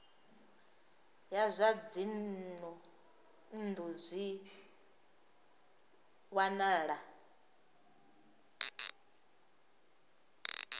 ya zwa dzinnu zwi wanala